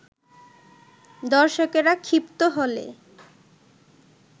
দর্শকেরা ক্ষিপ্ত হলে